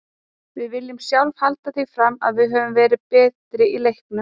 Við viljum sjálfir halda því fram að við höfum verið betri í leiknum.